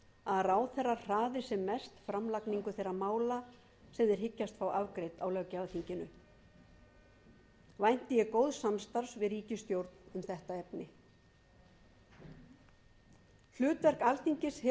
að ráðherrar hraði sem mest framlagningu þeirra mála sem þeir hyggjast fá afgreidd á löggjafarþinginu vænti ég góðs samstarfs við ríkisstjórn um þetta efni hlutverk alþingis hefur verið